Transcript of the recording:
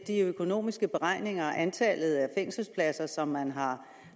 de økonomiske beregninger af antallet af fængselspladser som man har